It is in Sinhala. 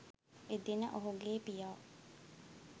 එදින ඔහුගේ පියා